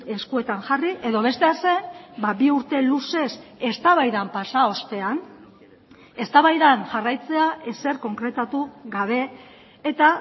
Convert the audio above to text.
eskuetan jarri edo bestea zen bi urte luzez eztabaidan pasa ostean eztabaidan jarraitzea ezer konkretatu gabe eta